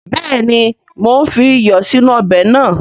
Béèni mo n fi iyọ̀ sínú ọbè nàá